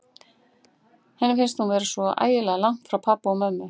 Henni fannst hún vera svo ægilega langt frá pabba og mömmu.